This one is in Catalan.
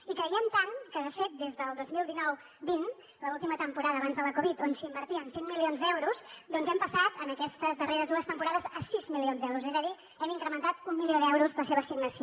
hi creiem tant que de fet des del dos mil dinou vint l’última temporada abans de la covid on s’invertien cinc milions d’euros hem passat en aquestes darreres dues temporades a sis milions d’euros és a dir hem incrementat un milió d’euros la seva assignació